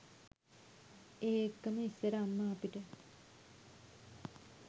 ඒ එක්කම ඉස්සර අම්මා අපිට